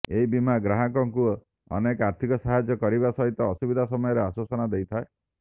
ଏହି ବୀମା ଗ୍ରାହକଙ୍କୁ ଅନେକ ଆର୍ଥିକ ସାହାଯ୍ୟ କରିବା ସହିତ ଅସୁବିଧା ସମୟରେ ଆଶ୍ୱାସନା ଦେଇଥାଏ